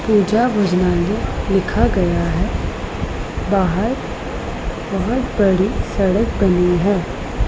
पुजा भोजनालय लिखा गया है बाहर बहोत बड़ी सड़क बनी है।